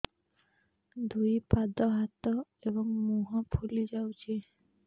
ଦୁଇ ପାଦ ହାତ ଏବଂ ମୁହଁ ଫୁଲି ଯାଉଛି